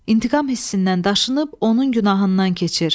İntiqam hissindən daşınıb, onun günahından keçir.